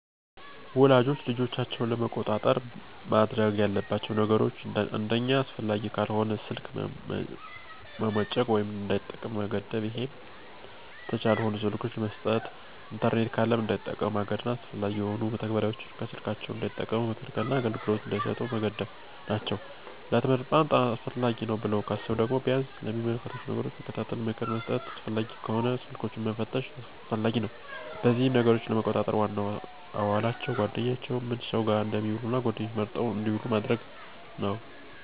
ወላጆች ልጆቻቸውን ለመቆጣጠር ማድረግ ያለባቸው ነገሮች አንደኛ አስፈላጊ ካልሆነ ስልክ መሞጨቅ ወይም እንዳይጠቀሙ መገደብ ይሄም ተች ያልሆኑ ስልኮችን መስጠት። ኢንተርኔት ካለም እንዳይጠቀሙ ማገድና አላስፈላጊ የሆኑ መተግበሪያዎችን ከስልካቸው እንዳይጠቀሙ መከልከልና አገልግሎት እንዳይሰጡ መገደብ ናቸው። ለትምህርት በጣም አስፈላጊ ነው ብለው ካሰቡ ደግሞ ቢያንስ የሚመለከቷቸውን ነገሮች መከታተል፣ ምክር መስጠትና አስፈላጊም ከሆነ ስልኮችንን መፈተሽም አስፈላጊ ነው። በዚህም ነገሮችን ለመቆጣጠር ዋናው አዋዋላቸውን፣ ጓደኛቸውንና ምን ሰው ጋር እንደሚውሉ እና ጓደኛቸውም መርጠው እንድውሉ ማድረግ ነው።